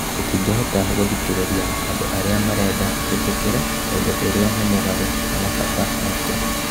Tũtingĩhota gũthikĩrĩria andũ arĩa marenda twĩtĩkĩre ũndũ ũrĩa nĩ mũgarũ na mabata maitũ